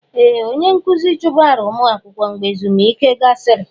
Ee! Onye nkụzi chụbara ụmụ akwụkwọ mgbe ezumike gasịrị.